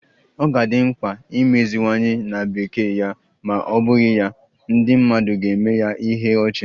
Ọ ga-adị mkpa imeziwanye na Bekee ya ma ọ bụghị ya, ndị mmadụ ga-eme ya ihe ọchị